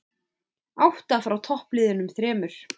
Átta frá toppliðunum þremur